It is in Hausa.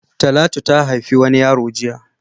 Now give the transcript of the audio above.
Talatu ha haifi wani yaro jiya.